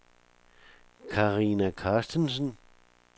Karina Carstensen